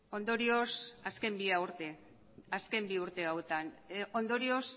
azken bi urte hauetan ondorioz